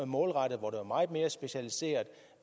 målrettet og meget mere specialiseret